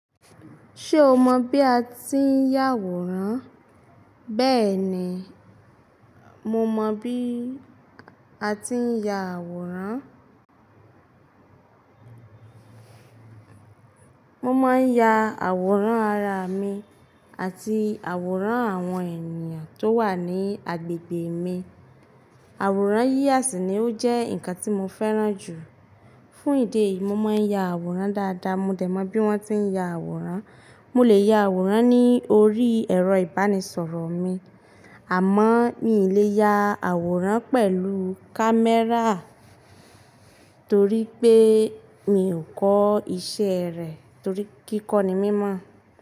Ṣé o mọ bí a ti ń ya àwòrán? Bẹ́ẹ̀ni, mo mọ bí a ti ń ya àwòrán. Mo máa ń ya àwòrán ara mi àti àwòrán àwọn ènìyàn tó wà ní agbègbè mi. Àwòrán yíyà sí ní ó jẹ́ nǹkan tí mo fẹ́ràn jù. Fún ìdí èyí, mo máa ń ya àwòrán dáadáa. Mo dẹ̀ mọ bí wọ́n ti ń ya àwòrán. Mo lè ya àwòrán ní orí ẹ̀rọ ìbánisọ̀rọ̀ mi, àmọ́ mi ò lè ya àwòrán pẹ̀lú kámẹ́rà torí pé mi ò kọ́ iṣẹ́ rẹ̀ torí kíkọ́ ni mimọ̀.